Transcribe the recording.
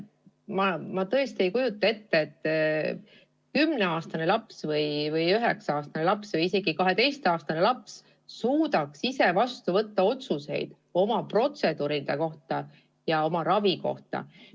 Ma tõesti ei kujuta ette, et 10- või 9-aastane laps või isegi 12-aastane laps suudaks ise vastu võtta otsuseid oma protseduuride ja ravi kohta.